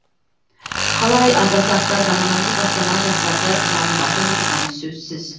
қалай атасақ та заманауи бастама жастарды жалындатып отырғаны сөзсіз